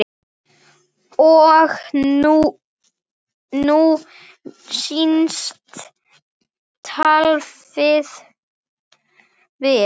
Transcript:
Og nú snýst taflið við.